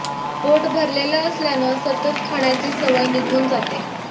पोट भरलेलं असल्यानं सतत खाण्याची सवय निघून जाते